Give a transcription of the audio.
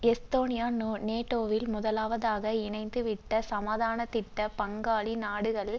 Estonia நேட்டோவில் முதலாவதாக இணைந்துவிட்ட சமாதானத்திட்டப் பங்காளி நாடுகளில்